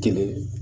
Kelen